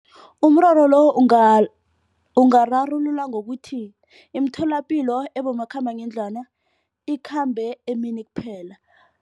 Umraro lo ungararululwa ngokuthi imitholapilo ebomakhambangendlwana ikhambe emini kuphela.